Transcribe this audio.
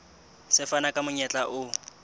se fana ka monyetla o